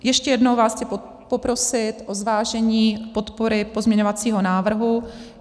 Ještě jednou vás chci poprosit o zvážení podpory pozměňovacího návrhu.